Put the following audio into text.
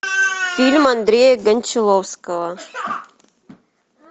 фильм андрея кончаловского